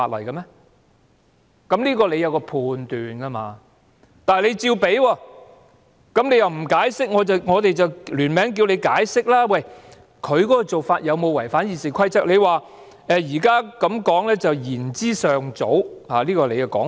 主席你應該就此作出判斷，但你照樣批准，卻不作解釋，於是我們便聯署要求你解釋，他這種做法有否違反《議事規則》，而你認為"仍言之尚早"——這是你的說法。